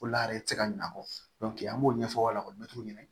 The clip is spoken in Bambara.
O la yɛrɛ ti se ka ɲina a kɔ dɔnku an b'o ɲɛfɔ aw be ɲinɛ